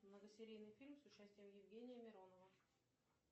многосерийный фильм с участием евгения миронова